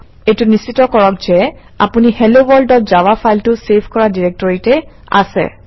এইটো নিশ্চিত কৰক যে আপুনি helloworldজাভা ফাইলটো চেভ কৰা ডিৰেক্টৰীতে আছে